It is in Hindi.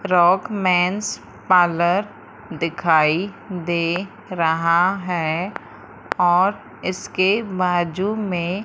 रॉक मेन्स पार्लर दिखाई दे रहा है और इसके बाजू में--